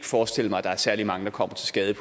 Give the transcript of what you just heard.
forestille mig at der er særlig mange der kommer til skade